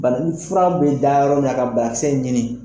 Bana fura bɛ da yɔrɔ min ka ɲini.